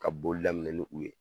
Ka boli daminɛ ni u ye